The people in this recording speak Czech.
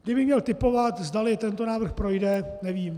Kdybych měl tipovat, zdali tento návrh projde, nevím.